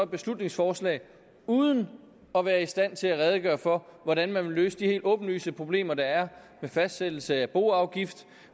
beslutningsforslag uden at være i stand til at redegøre for hvordan man vil løse de helt åbenlyse problemer der er med fastsættelse af boafgift